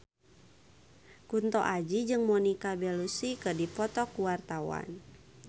Kunto Aji jeung Monica Belluci keur dipoto ku wartawan